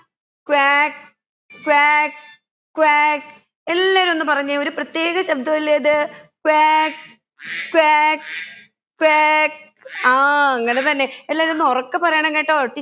quack quack quack എല്ലാവരും ഒന്ന് പറഞ്ഞെ ഒരു പ്രത്യേക ശബ്‌ദമല്ലെ അത് ക്വാക്ക് ക്വാക്ക് ക്വാക്ക് ആ അങ്ങനെ തന്നെ എല്ലാവരും ഒന്നുറക്കെ പറയണം കേട്ടോ